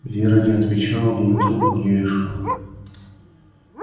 вера не отвечала но и трубку не вешала